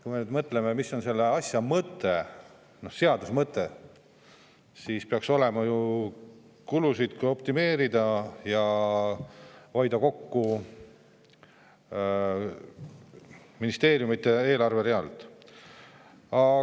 Kui me mõtleme, mis on selle asja mõte, selle seaduse mõte, siis peaks see ju olema kulusid optimeerida ja ministeeriumide eelarveridadelt kokku hoida.